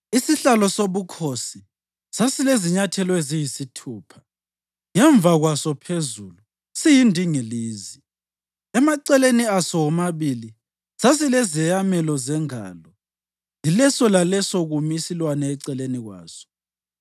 Isihlalo sobukhosi sasilezinyathelo eziyisithupha, ngemva kwaso phezulu siyindingilizi. Emaceleni aso womabili sasilezeyamelo zengalo, yileso laleso kumi isilwane eceleni kwaso.